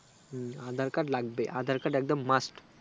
হুম aadhar card লাগবে aadhar card একদম mast